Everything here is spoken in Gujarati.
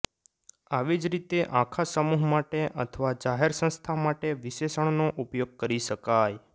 આવી જ રીતે આખા સમૂહ માટે અથવા જાહેર સંસ્થા માટે વિશેષણનો ઉપયોગ કરી શકાય